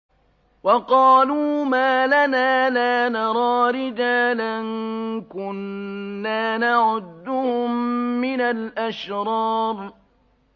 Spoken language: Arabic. وَقَالُوا مَا لَنَا لَا نَرَىٰ رِجَالًا كُنَّا نَعُدُّهُم مِّنَ الْأَشْرَارِ